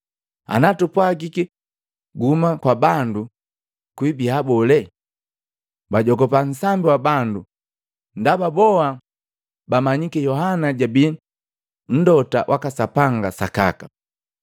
Anatupwagiki, ‘Gahuma kwa bandu,’ kwibia bole?” Bajogupa nsambi wa bandu ndaba boa bamanyiki Yohana jabii Mlota waka Sapanga sakaka.